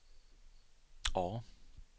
A